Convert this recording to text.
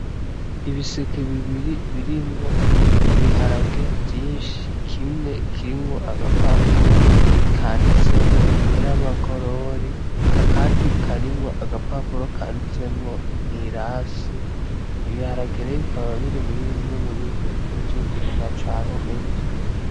Ibiseke bibiri birimwo ibiharage vyinshi kimwe kirimwo agapapuro kanditsemwo Nyiramagorori akandi karimwo agapapuro kanditsemwo Mwirasi; ibiharage rero bikaba biri muribimwe mubintu bikunzwe kurimwa cane gwose.